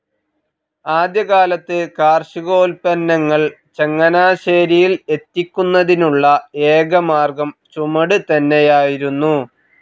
ആദ്യകാലത്ത് കാർഷികോൽപ്പന്നങ്ങൾ ചങ്ങനാശ്ശേരിയിൽ എത്തിക്കുന്നതിനുള്ള ഏക മാർഗം ചുമട് തന്നെയായിരുന്നു.